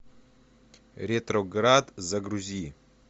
ретроград загрузи